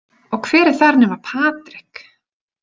Og hver er þar nema Patrik?